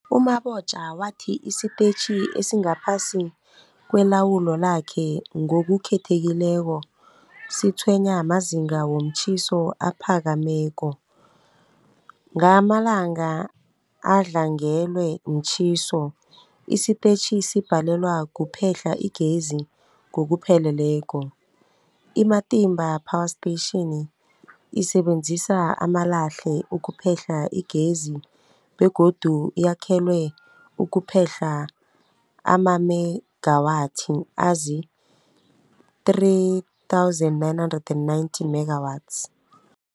U-Mabotja wathi isitetjhi esingaphasi kwelawulo lakhe, ngokukhethekileko, sitshwenywa mazinga womtjhiso aphakemeko. Ngamalanga adlangelwe mtjhiso, isitetjhi sibhalelwa kuphehla igezi ngokupheleleko. I-Matimba Power Station isebenzisa amalahle ukuphehla igezi begodu yakhelwe ukuphehla amamegawathi azii-3990 megawatts.